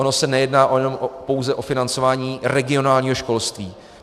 Ono se nejedná pouze o financování regionálního školství.